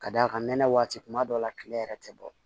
Ka d'a kan nɛnɛ waati kuma dɔw la tile yɛrɛ tɛ bɔ